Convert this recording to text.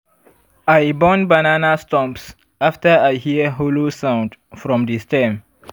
i burn banana stumps after i hear hollow sound from di stem.